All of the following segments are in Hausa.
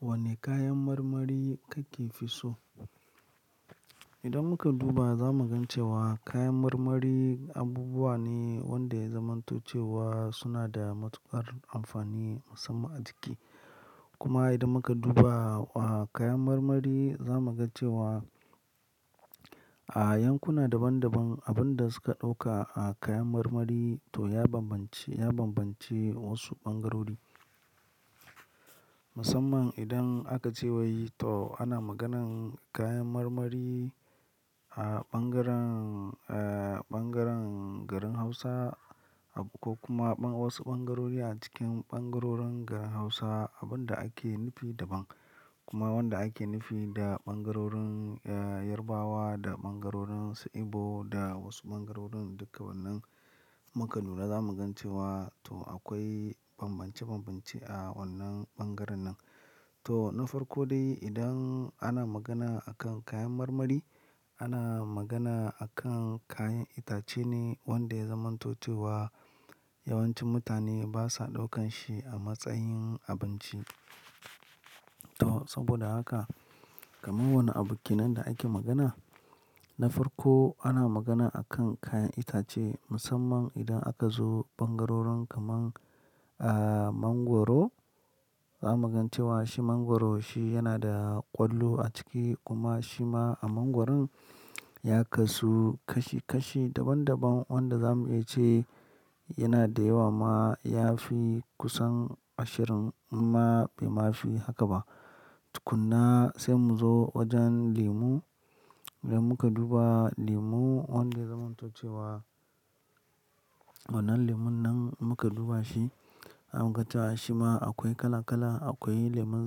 Wane kayan marmari kake fi so? Idan muka duba, za mu gan cewa kayan marmari abubuwa ne wanda ya zamantace wa suna da matuƙar amfani musamman a jiki. Kuma idan muka duba a kayan marmari, za mu ga cewa a yankuna daban daban, abin da suka ɗauka a kayan marmari to ya banbance, ya banbance wasu ɓangarori. Musamman idan aka ce wa yi to ana maganan kayan marmari a ɓangaren, a ɓangaren garin Hausa ko kuma wasu ɓangarori a cikin ɓangarorin garin Hausa, abin da ake nufi daban. Kuma wanda ake nufi da ɓangarorin Yoruba da ɓangarorin sa Igbo da wasu ɓangarorin dukka wannan muka lura za mu gan cewa to akwai banbance banbance a wannan ɓangaren nan. To na farko dai idan ana magana akan kayan marmari, ana magana akan kayan itace ne wanda ya zamanto cewa yawancin mutane basa ɗaukan shi a matsayin abinci. To saboda haka kamar wannan abu kenan da ake magana. Na farko ana magana akan kayan itace musamman idan aka zo ɓangarorin kamar mangwaro. Za mu gan cewa shi mangwaro shi yana da ƙwallo a ciki kuma shi ma a mangwaron ya kasu kashi kashi daban daban wanda za mu iya ce yana da yawa ma ya fi kusan ashirin amma bai mafi haka ba. Kunna sai mu zo wajen lemu. Idan muka duba lemu wanda ya zamanto ce wa wannan lemon nan muka duba shi, za mu gan cewa shi ma akwai kala kala. Akwai lemon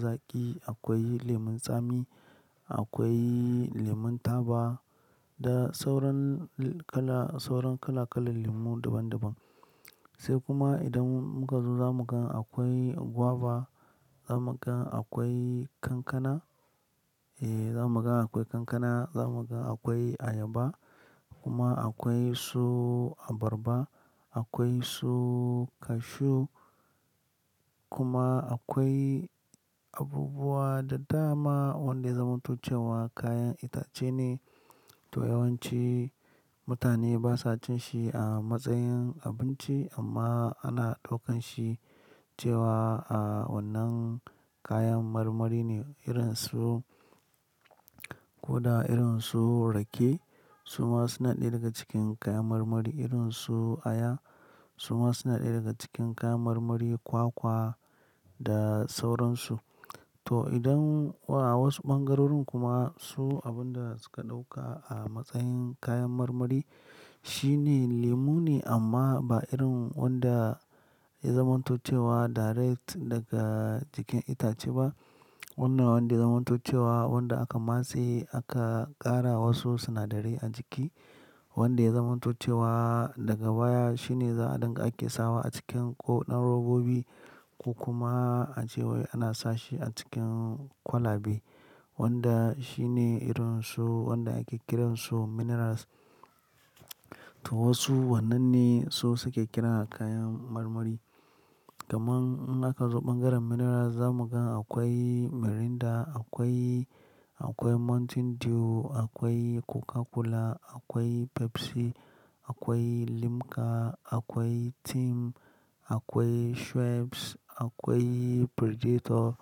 zaƙi, akwai lemon tsami, akwai lemon taba da sauran kala, sauran kala kalan lemu daban daban. Sai kuma idan muka zo za mu ga akwai guava, za mu ga akwai kankana, eh za mu ga akwai kankana, za mu ga akwai ayaba kuma akwai su abarba, akwai su cashew kuma akwai abubuwa daddama wanda ya zamanto ce wa kayan itace ne. To yawanci mutane basa jin shi a matsayin abinci amma ana ɗaukan shi cewa a wannan kayan marmari ne irin su ko da irin su rake. Su ma suna ɗaya daga cikin kayan marmari. Irin su aya su ma suna ɗaya daga cikin kayan marmari, kwakwa da sauransu. To idan a wasu ɓangarorin kuma su abin da suka ɗauka a matsayin kayan marmari shine lemu ne amma ba irin wanda ya zamantace wa direct daga cikin itace ba. Wannan wanda ya zamantace wa wanda aka matse aka ƙara wasu sinadarai a jiki. Wanda ya zamanto ce wa daga baya shine za'adan da ake sawa a cikin ƙoɗan robobi ko kuma a ce wai ana sashi a cikin kwalabe. Wanda shi ne irin su wanda ake kiran su minerals. To wasu wannan ne su suke kiran kayan marmari. Kamar in aka zo ɓangaren minerals za mu ga akwai Mirinda, akwai, akwai Mountain Dew, akwai Coca Cola, akwai Pepsi, akwai Limca, akwai Tim, akwai Schweppes, akwai Predator,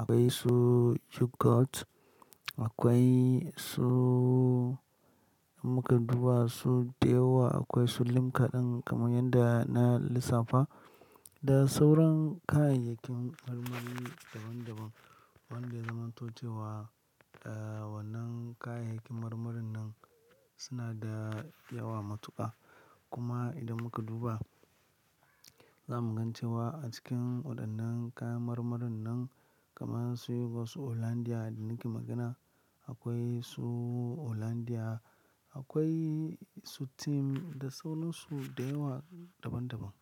akwai su Jugurt, akwai su idan muka duba su da yawa. Akwai su Limca ɗin kamar yadda na lissafa da sauran kayayyakin marmari daban daban wanda ya zamanto ce wa wannan kayayyakin marmarin nan suna da yawa matuƙa. Kuma idan muka duba, za mu gan cewa a cikin waɗannan kayan marmarin nan kamar su yi wasu Hollandia da nake magana. Akwai su Hollandia, akwai su Tim da sauransu da yawa daban daban.